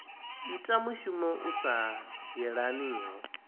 ita mushumo u sa yelaniho